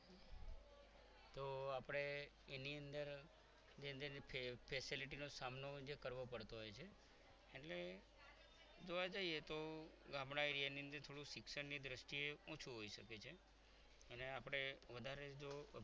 એની અંદર જે તે facilities નો સામનો આપણે કરવો પડતો હોય છે એટલે જોવા જઈએ તો ગામડા area ની અંદર થોડો શિક્ષણની દ્રષ્ટિએ ઓછું હોઈ શકે છે અને આપણે વધારે જો